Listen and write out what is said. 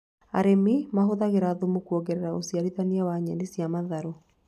Arĩmi mahũthagĩra thumu kuongerera ũciarithania wa Nyeni cia matharũ